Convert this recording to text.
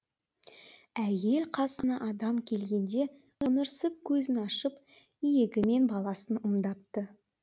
әйел қасына адам келгенде ыңырсып көзін ашып иегімен баласын ымдапты